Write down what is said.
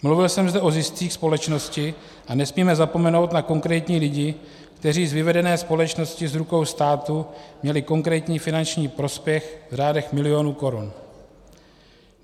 Mluvil jsem zde o ziscích společnosti a nesmíme zapomenout na konkrétní lidi, kteří z vyvedené společnosti z rukou státu měli konkrétní finanční prospěch v řádech milionů korun.